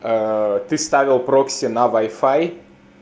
ты ставил прокси на вай фай